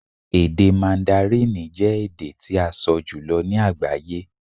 Èdè Màndárínì jẹ́ èdè tí a sọ jùlọ ní agbaye